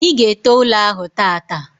I ga ete ụlọ ahụ tata